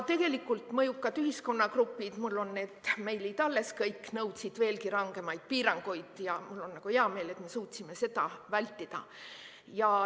Mõjukad ühiskonnagrupid – mul on need meilid kõik alles – nõudsid veelgi rangemaid piiranguid, aga mul on hea meel, et me suutsime seda vältida.